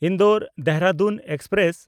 ᱤᱱᱫᱳᱨ-ᱫᱮᱦᱨᱟᱫᱩᱱ express